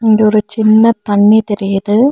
இங்க ஒரு சின்ன தண்ணி தெரியுது.